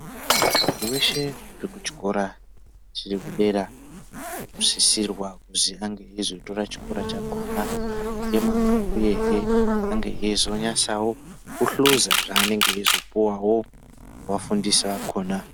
Muntu weshe arikuchikora chiri kudera anosisirwa kuziya eizotora chikora chakona nemazvo uyehe ange eizonasawo kuhluza zvanenge eizopuwawo nevafundisi vakona.